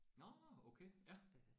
Nåh okay ja